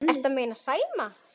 Ertu að meina Sæma?